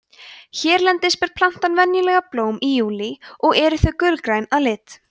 hérlendis ber plantan venjulega blóm í júlí og eru þau gulgræn að lit